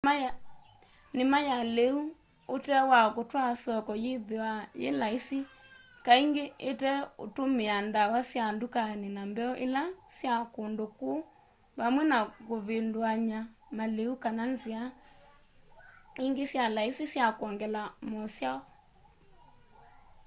nima ya liu ute wa kutwaa soko yithiawa yi laisi kaingi iteutumia ndawa sya ndukani na mbeu ila sya kundu ku vamwe na kuvinduany'a maliu kana nzia ingi syi laisi sya kwongela mosyao